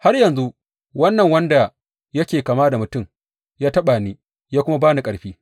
Har yanzu wannan wanda yana kama da mutum ya taɓa ni ya kuma ba ni ƙarfi.